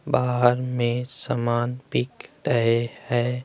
बाहर में समान बिक रहे है।